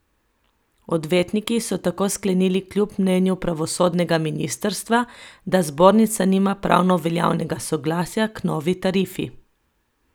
Odvetniki so tako sklenili kljub mnenju pravosodnega ministrstva, da zbornica nima pravno veljavnega soglasja k novi tarifi.